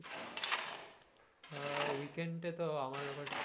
আহ weekend এ তো আমার আবার,